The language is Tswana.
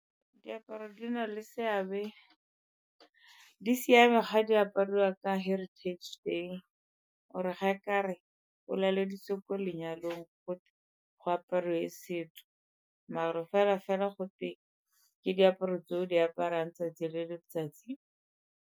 Diaparo di na le seabe, di siame ga di apariwa ka heritage day or-e ga e ka re o laleditswe ko lenyalong gotwe go apariwe setso mara fela-fela gote ke diaparo tse o di aparang 'tsatsi le letsatsi.